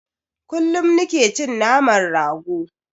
Kullum nike cin naman rago